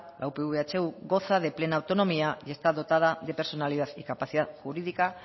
la upv ehu goza de plena autonomía y está dotada de personalidad y capacidad jurídica